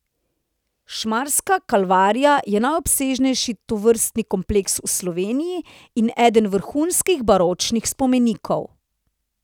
Šmarska kalvarija je najobsežnejši tovrstni kompleks v Sloveniji in eden vrhunskih baročnih spomenikov.